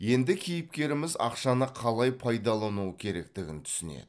енді кейіпкеріміз ақшаны қалай пайдалану керектігін түсінеді